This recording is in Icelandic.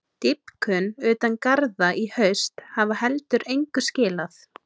Dýpkun utan garða í haust hafi heldur engu skilað.